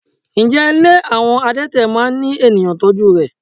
Ǹjẹ́ ilé àwọn adete máa ń ní ènìyàn tọ́jú rè?